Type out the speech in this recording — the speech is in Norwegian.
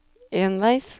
enveis